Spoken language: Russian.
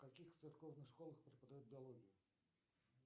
в каких церковных школах преподают биологию